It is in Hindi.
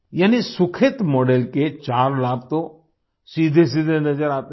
यानी सुखेत मॉडल के चार लाभ तो सीधेसीधे नजर आते हैं